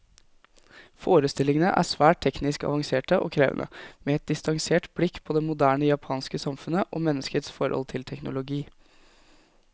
Forestillingene er svært teknisk avanserte og krevende, med et distansert blikk på det moderne japanske samfunnet, og menneskets forhold til teknologi.